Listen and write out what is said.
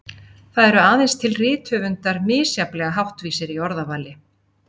Það eru aðeins til rithöfundar misjafnlega háttvísir í orðavali.